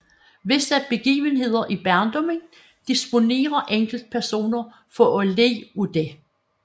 Visse begivenheder i barndommen disponerer enkeltpersoner for at lide af det